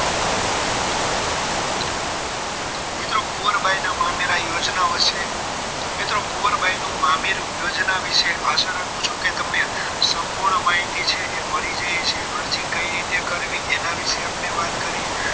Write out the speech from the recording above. મિત્રો કુંવરબાઈના મામેરા યોજનામાં ઓ છે મિત્રો કુંવરબાઈનું મામેરુ યોજના વિશે આશા રાખું છું કે તમને સંપૂર્ણ માહિતી છે એ મળી જઈ હશે અરજી કઈ રીતે કરવી એના વિશે આપણે વાત કરી